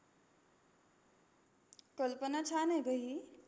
कल्पना छान आहे गं ही.